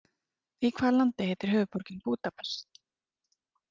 Í hvaða landi heitir höfuðborgin Búdapest?